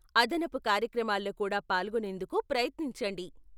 అదనపు కార్యక్రమాల్లో కూడా పాల్గొనేందుకు ప్రయత్నించండి.